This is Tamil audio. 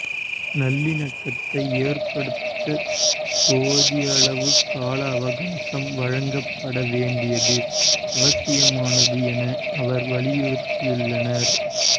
நல்லிணக்கத்தை ஏற்படுத்த போதியளவு கால அவகாசம் வழங்கப்பட வேண்டியது அவசியமானது என அவர் வலியுறுத்தியுள்ளார்